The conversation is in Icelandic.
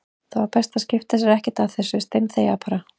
Það var best að skipta sér ekkert af þessu, steinþegja bara.